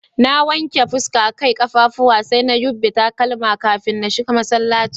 Na wanke fuska, Kai, kaffafuwa sai na yubbe takalma kafin na shiga masallacin.